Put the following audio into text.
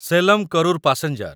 Salem Karur passenger